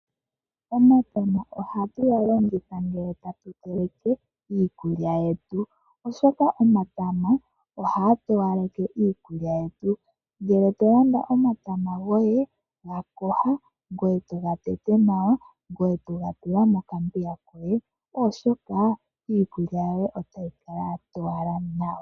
Omatama ohatu ga longitha ngele tatu teleke iikulya yetu oshoka omatama ohaga towaleke iikulya yetu. Ngele to landa omatama goye ga yoga ngoye toga tete nawa ngoye toga tula mokambiga koye oshoka iikulya yoye otayi kala ya towala nawa.